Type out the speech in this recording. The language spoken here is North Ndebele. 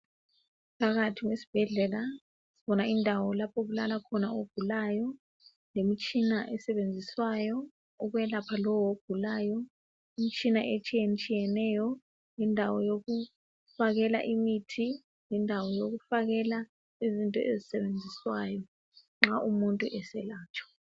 Phakathi kwesibhedlela kukhona indawo lapho okulala khona ogulayo lemitshina esebenziswayo ukwelapha lowo ogulayo. Imtshina etshiyatshiyeneyo lendawo yokufakelwa imithi lendawo wokufakela ezinye izinto ezisetshenziswayo nxa umuntu eselatshwa.